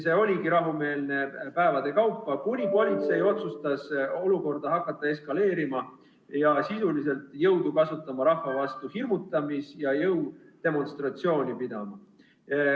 See oligi rahumeelne päevade kaupa, kuni politsei otsustas hakata olukorda eskaleerima, sisuliselt rahva vastu jõudu kasutama ning hirmutamis- ja jõudemonstratsiooni pidama.